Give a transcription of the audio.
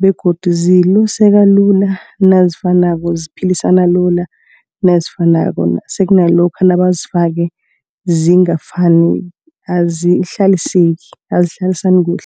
begodu ziluseka lula nazifanako. Ziphilisana lula nazifunwako sekuna lokha nabazifake zingafani. Azihlaliseki, azihlalisani kuhle.